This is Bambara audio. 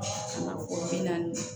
Ka na kɔrɔ bi naani